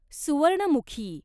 Suvarnamukhi